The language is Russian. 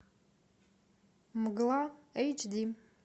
мгла эйч ди